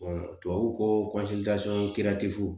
tubabu ko